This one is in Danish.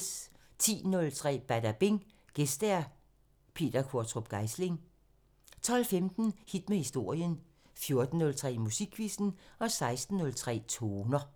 10:03: Badabing: Gæst Peter Qvortrup Geisling 12:15: Hit med historien 14:03: Musikquizzen 16:03: Toner